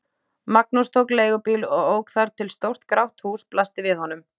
Magnús tók leigubíl og ók þar til stórt grátt hús blasti við honum.